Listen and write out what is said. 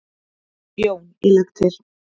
JÓN: Ég legg til.